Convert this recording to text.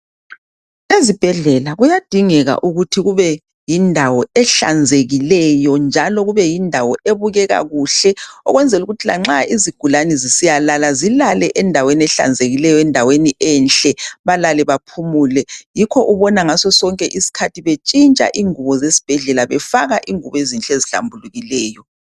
Ezibhedlela kuyadingeka ukuthi kube yindawo ehlanzekileyo njalo kube yindawo ebukeka kuhle okwenzela ukuthi lanxa izigulane zisiyalala zilalele endaweni ehlanzekileyo, endaweni enhle balale baphumule. Yikho ubona ngaso sonke isikhathi betshintsha ingubo zesibhedlela befaka ingubo ezinhle ezihlambulukileyo.